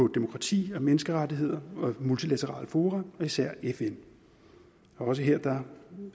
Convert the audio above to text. demokrati af menneskerettigheder og multilaterale fora og især fn og også her